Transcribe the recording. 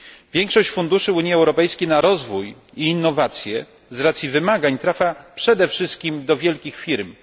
Większość funduszy Unii Europejskiej na rozwój i innowacje z racji wymagań trafia przede wszystkim do wielkich firm.